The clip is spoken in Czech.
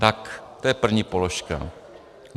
Tak to je první položka.